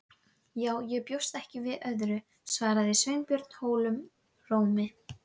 Já, ég bjóst ekki við öðru- svaraði Sveinbjörn holum rómi.